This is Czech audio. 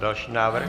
Další návrh.